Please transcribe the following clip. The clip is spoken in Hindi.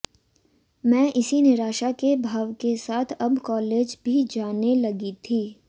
मैं इसी निराशा के भाव के साथ अब कॉलेज भी जाने लगी थी